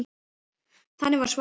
Þannig var Svala.